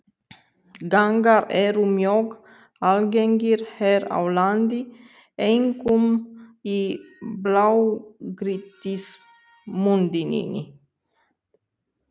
Gangar eru mjög algengir hér á landi, einkum í blágrýtismynduninni.